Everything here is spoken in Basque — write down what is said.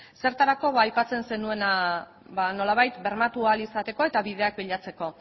zertarako aipatzen zenuena nolabait bermatu ahal izateko eta bideak bilatzeko